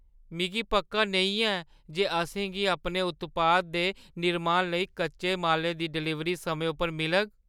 मिगी पक्का नेईं ऐ जे असेंगी अपने उत्पाद दे निर्माण लेई कच्चे मालै दी डलीवरी समें उप्पर मिलग।